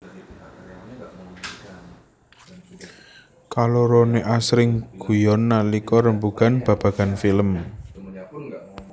Kaloroné asring guyon nalika rembugan babagan film